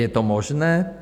Je to možné?